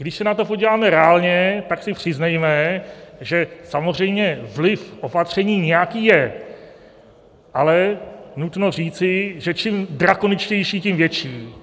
Když se na to podíváme reálně, tak si přiznejme, že samozřejmě vliv opatření nějaký je, ale nutno říci, že čím drakoničtější, tím větší.